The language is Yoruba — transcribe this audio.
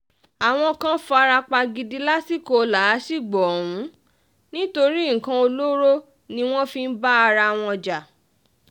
àwọn kan fara pa gidi lásìkò làásìgbò ọ̀hún nítorí nǹkan olóró ni wọ́n fi ń bára wọn jà